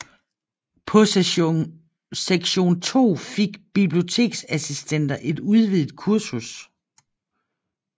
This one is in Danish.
På Sektion II fik biblioteksassistenter et udvidet kursus